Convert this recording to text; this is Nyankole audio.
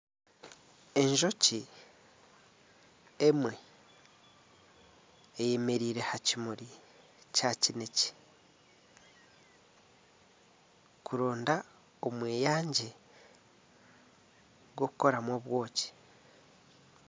Enjoki emwe eyemereire aha kimuri kya kinekye kuronda omweyangye gw'okukoramu obwoki.